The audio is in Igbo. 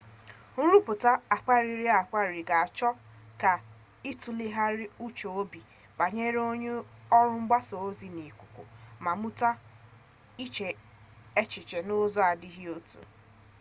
nruputa akpariri-akpari ga-acho ka itulegharia uche-obi banyere oru mgbasa-ozi n'ikuku ma muta iche echiche n'uzo na adighi otu